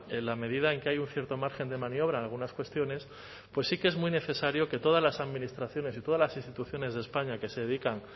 en la medida en que hay un cierto margen de maniobra en algunas cuestiones pues sí que es muy necesario que todas las administraciones y todas las instituciones de españa que se dedican